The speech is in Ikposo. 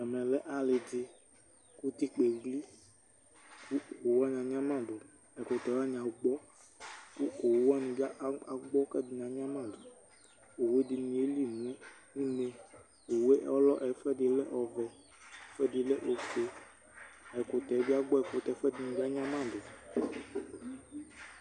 Ɛmɛ lɛ alɩ dɩ ; utikpǝ eɣli ,owu wanɩ anyamadʋ, ɛkʋtɛ wanɩ agbɔ, owu wanɩ bɩ agbɔ kɛdɩnɩ anyamadʋOwue ɛdɩnɩ yeli nʋ une, owue ɔlɔ ,ɛfʋɛdɩnɩ lɛ ɔvɛ, ɛfʋɛdɩ lɛ ofue Ɛkʋtɛ bɩ agbɔ ,ɛkʋtɛ ɛfʋɛdɩnɩ anyamadʋ